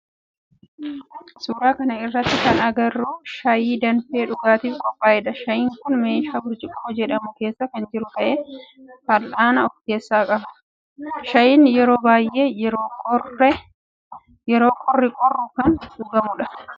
Suuraa kana irratti kana agarru shaayii danfee dhugaatif qophaa'edha. Shaayiin kun meeshaa burcuqqoo jedhamu keessa kan jiru ta'ee fal'aana of keessaa qaba. Shaayiin yeroo baayyee yeroo qorri qorru kan dhugamudha.